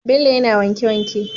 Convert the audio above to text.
Bello yAna wanke wanke